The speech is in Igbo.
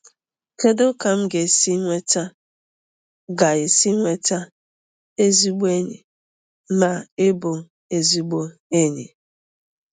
Kedu ka m ga-esi nweta ga-esi nweta ezigbo enyi na ịbụ ezigbo enyi?